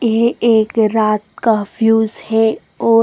ये एक रात का फिउस है और--